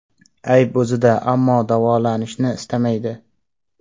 Ayb o‘zida, ammo davolanishni istamaydi.